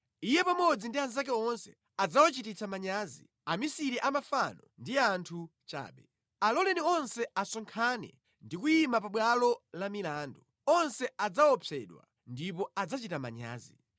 Iye pamodzi ndi anzake onse adzawachititsa manyazi; amisiri a mafano ndi anthu chabe. Aloleni onse asonkhane ndi kuyima pabwalo la milandu; onse adzaopsedwa ndipo adzachita manyazi.